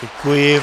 Děkuji.